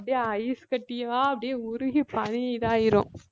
அப்படியே ஐஸ் கட்டியா அப்படியே உருகி பனி இதாயிரும்